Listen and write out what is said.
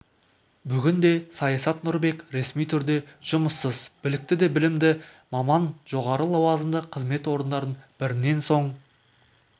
бүгінде саясат нұрбек ресми түрде жұмыссыз білікті де білімді маман жоғары лауазымды қызмет орындарын бірінен соң